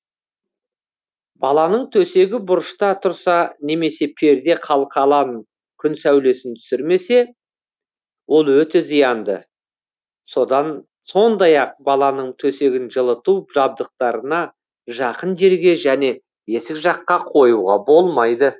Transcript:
баланың төсегі бұрышта тұрса немесе перде қалқалан күн сәулесін түсірмесе ол өте зиянды сондай ақ баланың төсегін жылыту жабдықтарына жақын жерге және есік жаққа қоюға болмайды